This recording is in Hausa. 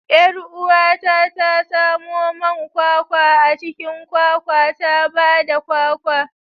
Yar uwata ta samo man kwakwa a cikin kwakwa ta ba da kwakwa.